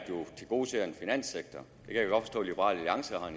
tilgodeser at liberal alliance har en